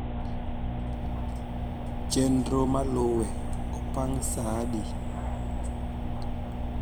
chenro maluwe opang' saa adi